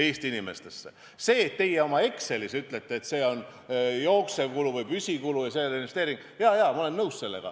Jaa, sellega, et teie oma Excelis ütlete, et see on jooksev kulu või püsikulu ega ole investeering, ma olen nõus.